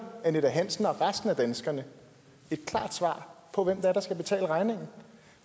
annette hansen og resten af danskerne et klart svar på hvem der skal betale regningen